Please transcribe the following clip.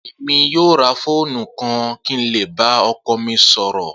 Emi yoo ra foonu kan ki n le ba ọkọ mi sọrọ.